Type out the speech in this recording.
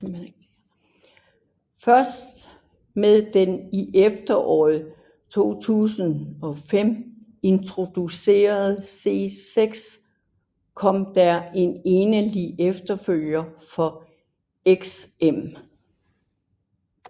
Først med den i efteråret 2005 introducerede C6 kom der en egentlig efterfølger for XM